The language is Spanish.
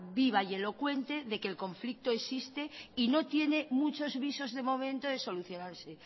viva y elocuente de que el conflicto existe y no tiene muchos visos de momento de solucionarse